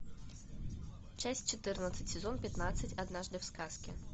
часть четырнадцать сезон пятнадцать однажды в сказке